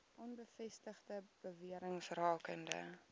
onbevestigde bewerings rakende